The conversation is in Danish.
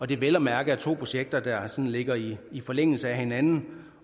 det er vel at mærke to projekter der ligger i i forlængelse af hinanden